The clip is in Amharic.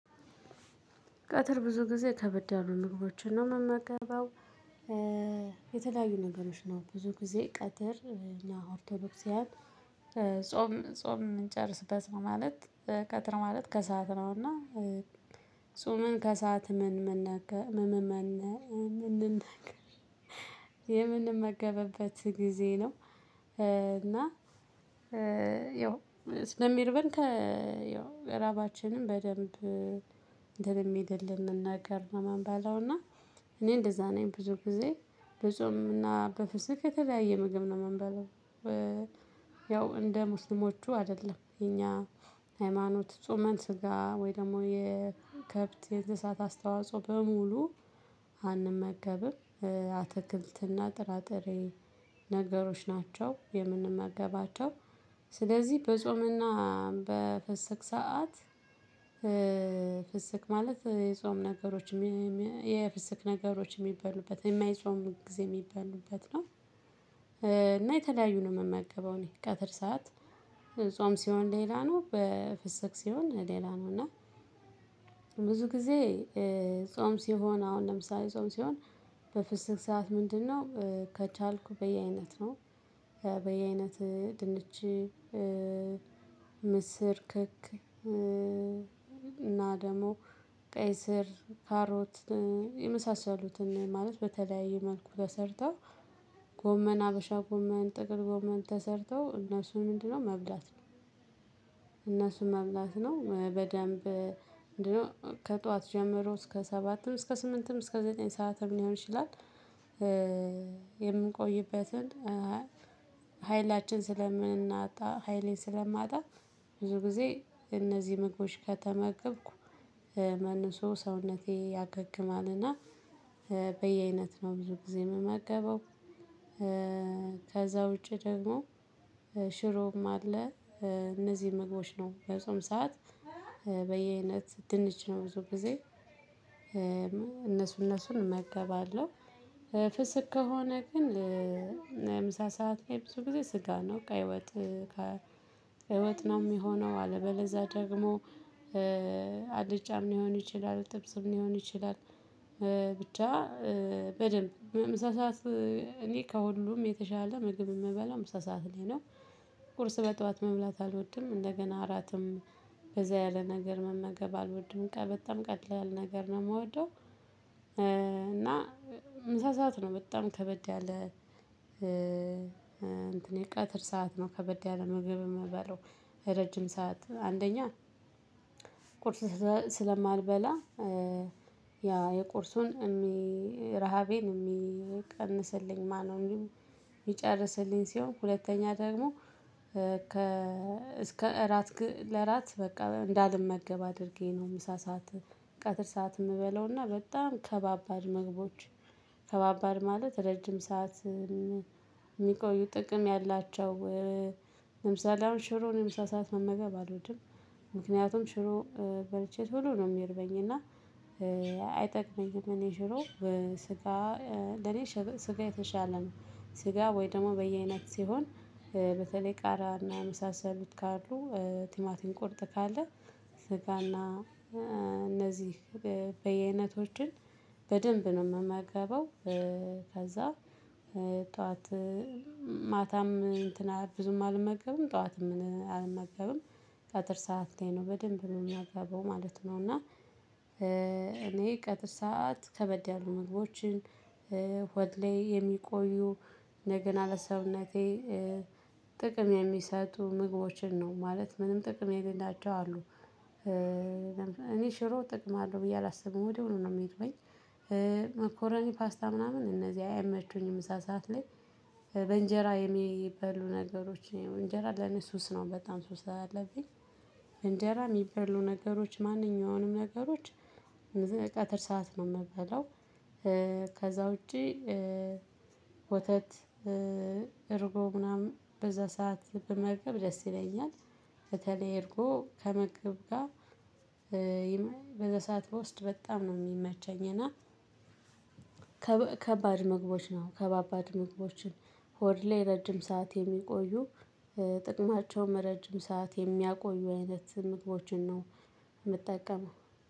ቀትር ብዙ ጊዜ ከበድ ያሉ ምግቦችን ነው የምመገበው። የተለያዩ ነገሮች ነው ብዙ ጊዜ ቀትር እኛ ኦርቶዶክሳዊያን ጾም ጾም እንጨርስበት ነው ማለት። ቀትር ማለት ከሰአት ነውና። ጹመን ከሰአት ምን ነገ ምን ምን ነገ የምንመገበበት ጊዜ ነው። እና ያው ስለሚርበን ከያው ራባችንም በደንብ እንትን የሚልልን ነገር ነው የምንበላው። እና እኔ እንደዛ ነኝ ብዙ ጊዜ በጾም እና በፍስግ የተለያየ ምግብ ነው የምንበላው። ያው እንደ ሙስሊሞቹ አይደለም የኛ ሃይማኖት ጾመን ስጋ ወይ ደግሞ የከብት የእንስሳት አስተዋጽኦ በሙሉ አንመገብም። አትክልትና ጥራጥሬ ነገሮች ናቸው የምንመገባቸው። ስለዚህ በጾምና በፍስግ ሰዓት ፍስግ ማለት የጾም ነገሮችም የፍስክ ነገሮችም የሚበሉበት የማይጾም ጊዜ የሚበሉበት ነው። እና የተለያዩ ነው የምመገበው እኔ ቀትር ሰዓት ጾም ሲሆን ሌላ ነው በፍስግ ሲሆን ሌላ ነው። እና ብዙ ጊዜ ጾም ሲሆን አሁን ለምሳሌ ጾም ሲሆን በፍስግ ሰዓት ምንድነው ከቻልኩ በየአይነት ነው። በየአይነት ድንች ምስር ክክ እና ደግሞ ቀይ ስር ካሮት የመሳሰሉትን ማለት በተለያየ መልኩ ተሰርተው ጎመን ሀበሻ ጎመን ጥቅል ጎመን ተሰርተው እነሱን ምንድነው መብላት ነው። እነሱም መብላት ነው በደንብ እንዲሁ ከጧት ጀምሮ እስከ ሰባትም እስከ ስምንትም እስከ ዘጠኝ ሰዓትም ሊሆን ይችላል። የምንቆይበትን ኃይላችን ስለምናጣ ኃይሌን ስለማጣ ብዙ ጊዜ እነዚህ ምግቦች ከተመገብኩ መልሶ ሰውነቴ ያገግማልና በየአይነት ነው ብዙ ጊዜ የምመገበው። ከዛ ውጪ ደግሞ ሽሮም አለ። እነዚህ ምግቦች ነው የጾም ሰዓት በየአይነት ድንች ነው ብዙ ጊዜ እነሱን እነሱን እመገባለሁ። ፍስክ ከሆነ ግን ለምሳ ሰዓት ላይ ብዙ ጊዜ ስጋ ነው ቀይ ወጥ ቀይ ወጥ ነው የሚሆነው አለበለለዚያ ደግሞ አልጫም ሊሆን ይችላል ጥብስም ሊሆን ይችላል። ብቻ በደንብ ምሳ ሰዓት እኔ ከሁሉም የተሻለ ምግብ የምበላው ምሳ ሰዓት ላይ ነው። ቁርስ በጧት መብላት አልወድም እንደገና እራትም ከዛ ያለ ነገር መመገብ አልወድም በጣም ቀላል ነገር ነው የምወደው። እና ምሳ ሰዓት ነው በጣም ከበድ ያለ እንትን የቀትር ሰዓት ነው ከበድ ያለ ምግብ የምበላው። ረጅም ሰዓት አንደኛ ቁርስ ስለማልበላ ያ የቁርሱን ረሃቤን የሚቀንስልኝ ማነው? የሚጨርስልኝ ሲሆን ሁለተኛ ደግሞ ከ እስከ እራት ለራት በቃ እንዳልመገብ አድርጌ ነው። ምሳ ሰዓት ቀትር ሰዓት የምበላውና በጣም ከባባድ መግቦች ከባባድ ማለት ረጅም ሰዓት ሰዓት የሚቆዩ ጥቅም ያላቸው። ለምሳሌ አሁን ሽሮን ምሳ ሰዓት መመገብ አልወድም። ምክንያቱም ሽሮ በልቼ ቶሎ ነው የሚርበኝ እና አይጠቅመኝም። እኔ ሽሮ ስጋ ለኔ ስጋ የተሻለ ስጋ ወይ ደግሞ በየአይነት ሲሆን በተለይ ቃሪያ እና የመሳሰሉት ካሉ ቲማቲም ቁርጥ ካለ ስጋና በየአይነቶችን በደንብ ነው የምመገበው። ከዛ ጠዋት ማታም እንትን ብዙም አልመገብም ጠዋትም አልመገብም ቀትር ሰዓት ላይ ነው በደንብ ነው የምመገበው ማለት ነው እና። እኔ ቀትር ሰዓት ከበድ ያሉ ምግቦችን ሆድ ላይ የሚቆዩ እንደገና ለሰውነቴ ጥቅም የሚሰጡ ምግቦችን ነው ማለት ምንም ጥቅም የሌላቸው አሉ። እኔ ሽሮ ጥቅም አለው ብየ አላስብም ወዲያው ነው የሚርበኝ። መኮረኒ ፓስታ ምናምን እነዚህ አይመቹኝም ምሳ ሰዓት ላይ። በእንጀራ የሚበሉ ነገሮች እንጀራ ለኔ ሱስ በጣም ሱስ አለብኝ እንጀራ የሚበሉ ነገሮች ማንኛውንም ነገሮች ቀትር ሰዓት ነው የምበላው። ከዛ ውጪ ወተት እርጎ ምናምን በዛ ሰዓት ብመገብ ደስ ይለኛል። በተለይ እርጎ ከምግብ ጋር በዛ ሰዓት ብወስድ በጣም ነው የሚመቸኝ። እና ከባድ ምግቦችን ነው ከባባድ ምግቦችን ሆድ ላይ ረጅም ሰዓት የሚቆዩ ጥቅማቸውም ረጅም ሰዓት የሚያቆዩ አይነት ምግቦችን ነው። የምጠቀመው።